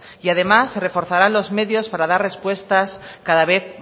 y además se reforzarán los medios para dar respuestas cada vez